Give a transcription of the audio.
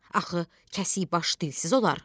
Axı kəsik baş dilsiz olar?